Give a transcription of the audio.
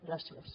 gràcies